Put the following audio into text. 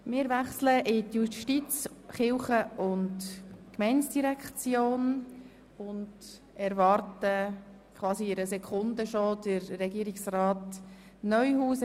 Wir wechseln zu den Geschäften der JGK und warten auf Regierungsrat Neuhaus.